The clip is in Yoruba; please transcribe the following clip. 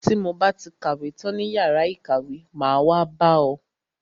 Ti mo ba ti kàwé tán ní yàrá ìkàwé, máa wá bá ọ.